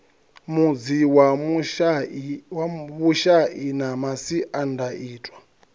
mudzi wa vhushai na masiandaitwa